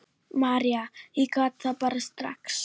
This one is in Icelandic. María: Ég gat það bara strax.